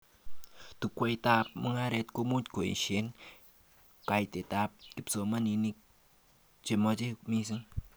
Chukwaitab mugaret komuch koeshoee kaitet kipsomanink chemache mising